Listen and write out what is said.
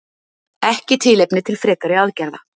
Ekki tilefni til frekari aðgerða